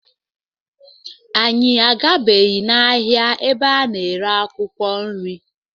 Anyị agabeghị n'ahịa ebe a na-ere akwụkwọ nri.